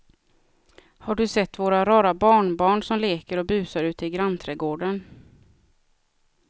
Har du sett våra rara barnbarn som leker och busar ute i grannträdgården!